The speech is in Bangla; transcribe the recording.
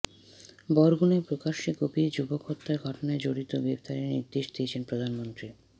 বরগুনায় প্রকাশ্যে কুপিয়ে যুবক হত্যার ঘটনায় জড়িতদের গ্রেফতারের নির্দেশ দিয়েছেন প্রধানমন্ত্রী